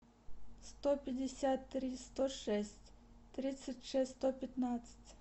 сто пятьдесят три сто шесть тридцать шесть сто пятнадцать